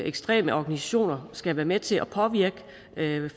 ekstreme organisationer skal være med til at påvirke